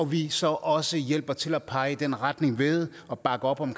vi så også hjælper med til at pege i den retning ved at bakke op om